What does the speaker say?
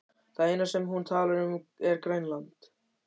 Það eina sem hún talar um er Grænland.